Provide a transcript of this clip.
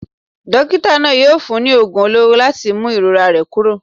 Dókítà náà yóò fún un ní oògùn olóró láti mú ìrora rẹ̀ kúrò.